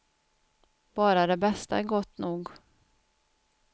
Bara det bästa är gott nog.